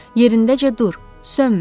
Yerindəcə dur, sönmə.